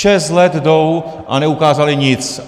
Šest let jdou, a neukázali nic.